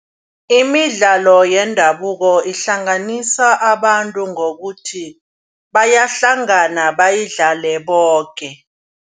Imidlalo yendabuko ihlanganisa abantu ngokuthi bayahlangana bayidlale boke.